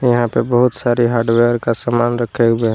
यहाँ पर बहुत सारा हार्डवेयर का सामान रखे हुए हैं।